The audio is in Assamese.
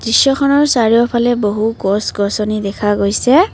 দৃশ্যখনৰ চাৰিওফালে বহু গছ গছনি দেখা গৈছে।